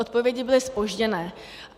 Odpovědi byly zpožděné.